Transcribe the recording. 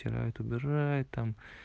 ютубер аид